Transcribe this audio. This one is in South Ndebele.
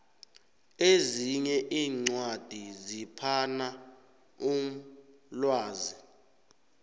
ezinye iincwadi ziphana umlwazi